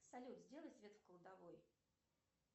салют сделай свет в кладовой